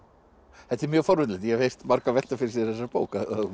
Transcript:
þetta er mjög forvitnilegt ég hef heyrt marga velta fyrir sér þessari bók að